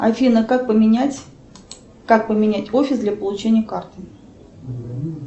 афина как поменять как поменять офис для получения карты